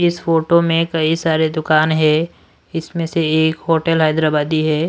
इस फोटो में कई सारे दुकान है इसमें से एक होटल हैदराबादी है।